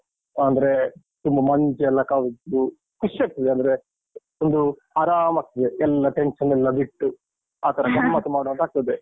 ಅಂದ್ರೆ ತುಂಬ ಮಂಜು ಎಲ್ಲ ಕವಿದು ಖುಷ್ಯಾಗ್ತದೆ ಅಂದ್ರೆ ಒಂದು ಆರಾಮಾಗ್ತದೆ, ಎಲ್ಲ tension ಎಲ್ಲ ಬಿಟ್ಟು, ಆತರ ಗಮ್ಮತ್ತುಮಾಡುವಾಂತಾಗ್ತದೆ.